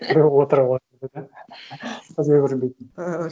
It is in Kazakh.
бір көзге көрінбейтін